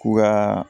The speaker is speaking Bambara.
K'u ka